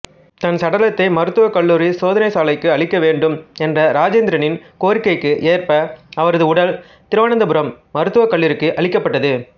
தன் சடலத்தை மருத்துவக்கல்லூரி சோதனைச்சாலைக்கு அளிக்க வேண்டும் என்ற ராஜேந்திரனின் கோரிக்கைக்கு ஏற்ப அவரது உடல் திருவனந்தபுரம் மருத்துவக்கல்லூரிக்கு அளிக்கப்பட்டது